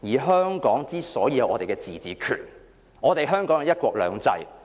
香港之所以有自治權，是因為香港實施"一國兩制"。